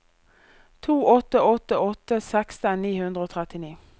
to åtte åtte åtte seksten ni hundre og trettini